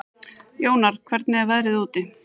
Jónar, hvernig er veðrið úti?